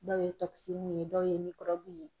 Dɔw ye ye dɔw ye ye.